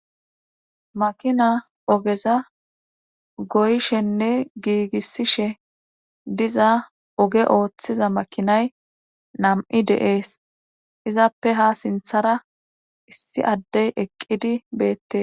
makina ogeza goyshenne giigissishe diza oge ooththiza makinay nam7i deees izappe ha sinthara issi addey eqqidi beette